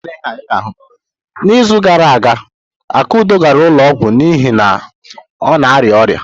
N'izu gara aga, Akudo gara ụlọ ọgwụ n'ihi na ọ na-arịa ọrịa.